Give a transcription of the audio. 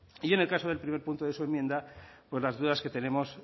y en el caso del primer punto de su enmienda pues las dudas que tenemos